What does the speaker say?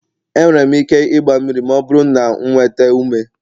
E nwere m ike igba mmiri ma ọ bụrụ na m nweta ume.